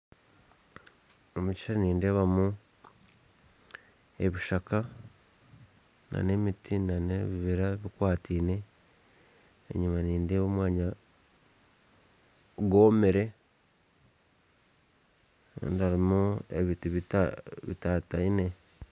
Omukishishani nindeebamu ebishaka na emiti na ebibira bikwataine enyima nindeeba omwanya gwomire kandi harimu ebiti bitataine.